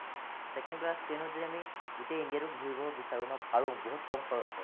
second class train ত যদি আমি গোটেই ইন্দিয়াটো ঘূৰিব বিচাৰো ন, পাৰো বহুত কম খৰচ হয়।